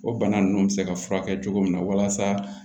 O bana ninnu bɛ se ka furakɛ cogo min na walasa